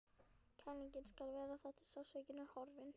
Kælingin skal vara þar til sársaukinn er horfinn.